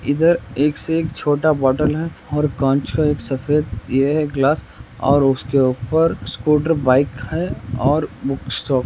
इधर एक से एक छोटा बोटल है और कांच का एक सफ़ेद ये हे गिलास और उसके ऊपर स्कूटर बाइक है और बुक्स --